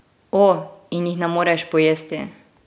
O, in jih ne moreš pojesti!